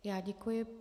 Já děkuji.